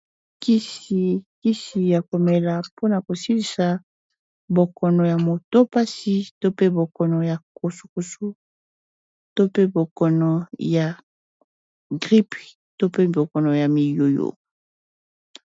Kisi ya komela mpona kosilisa bokono ya moto pasi to pe bokono ya kosu kosu to pe bokono ya gripe to pe bokono ya miyoyo.